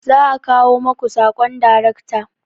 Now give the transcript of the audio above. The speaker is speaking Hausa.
Za'a kawo maku sakon daracta